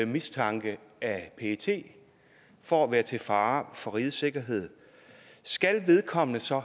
mistanke af pet for at være til fare for rigets sikkerhed skal vedkommende så